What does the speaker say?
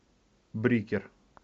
брикер